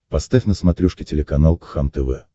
поставь на смотрешке телеканал кхлм тв